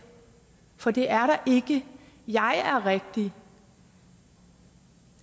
for det er ikke jeg er rigtig